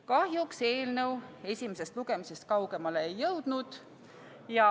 Kahjuks eelnõu esimesest lugemisest kaugemale ei jõudnud.